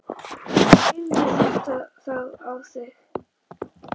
Drífðu þetta þá í þig.